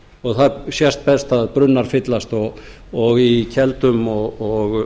og það sést best að brunnar fyllast og í keldum og